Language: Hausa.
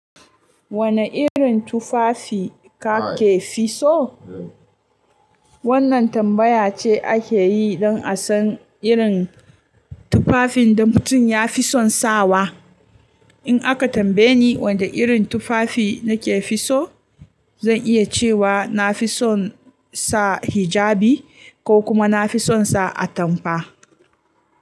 Wane irin tufafi kake fisso? Wannan tambaya ce ake yi don a san irin tufafin da mutum ya fi son sawa. In aka tambaye ni wane irin tufafi inke fi so zan iya cewa nafison sa ijabi ko nafison sa atamfa.